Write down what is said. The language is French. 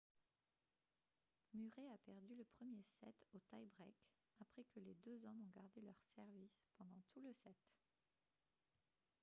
murray a perdu le premier set au tie break après que les deux hommes ont gardé leur service pendant tout le set